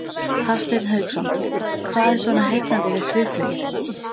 Hafsteinn Hauksson: Hvað er svona heillandi við svifflugið?